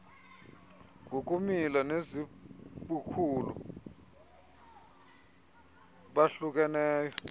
ngokumila nezibukhulu bahlukeneyo